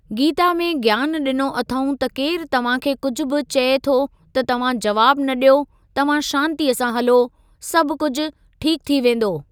गीता में ज्ञान ॾिनो अथऊं त केरु तव्हां खे कुझु बि चए थो त तव्हां जवाबु न ॾियो तव्हां शांतिअ सां हलो, सभु कुझु ठीकु थी वेंदो।